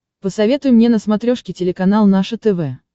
посоветуй мне на смотрешке телеканал наше тв